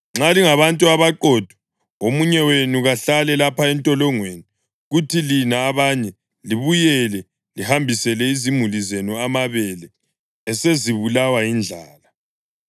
Nxa lingabantu abaqotho, omunye wenu kahlale lapha entolongweni, kuthi lina abanye libuyele lihambisele izimuli zenu amabele esezibulawa yindlala.